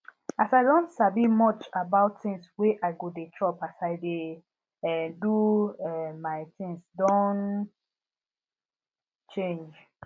as i don sabi much about things wey i go dey chop as i dey um do um my things don change